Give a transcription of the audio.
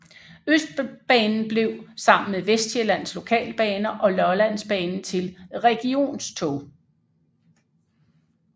Østbanen blev sammen med Vestsjællands Lokalbaner og Lollandsbanen til Regionstog